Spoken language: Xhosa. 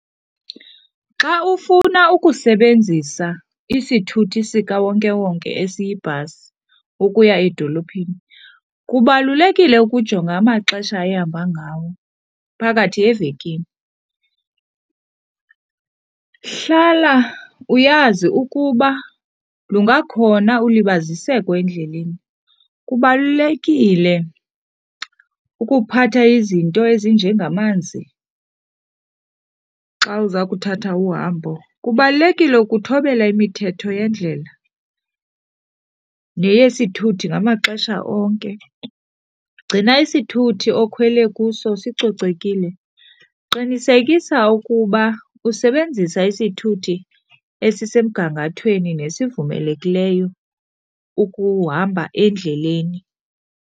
Xa ufuna ukusebenzisa isithuthi sikawonkewonke esiyibhasi ukuya edolophini, kubalulekile ukujonga amaxesha ehamba ngawo phakathi evekini. Hlala uyazi ukuba lungakhona ulibaziseko endleleni, kubalulekile ukuphatha izinto ezinjengamanzi xa uza kuthatha uhambo. Kubalulekile ukuthobela imithetho yendlela neyesithuthi ngamaxesha onke, gcina isithuthi okhwele kuso sicocekile, qinisekisa ukuba usebenzisa isithuthi esisemgangathweni nesivumelekileyo ukuhamba endleleni.